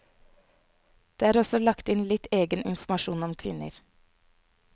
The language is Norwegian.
Det er også lagt inn litt egen informasjon om kvinner.